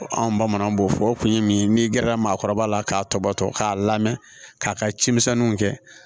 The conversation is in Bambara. Anw bamananw b'o fɔ o kun ye min ye n'i gɛrɛla maakɔrɔba la k'a tɔbɔtɔ k'a lamɛn k'a ka cimisɛnninw kɛ